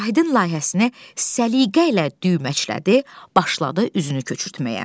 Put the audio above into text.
Vahidin layihəsini səliqə ilə düyməçlədi, başladı üzünü köçürtməyə.